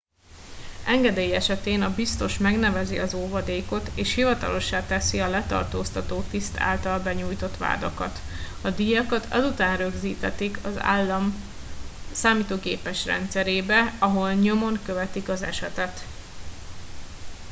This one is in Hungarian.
engedély esetén a biztos megnevezi az óvadékot és hivatalossá teszi a letartóztató tiszt által benyújtott vádakat a díjakat azután rögzítetik az állam számítógépes rendszerébe ahol nyomon követik az esetet